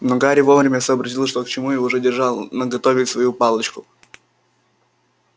но гарри вовремя сообразил что к чему и уже держал наготове свою палочку